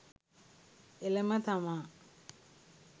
එළම තමා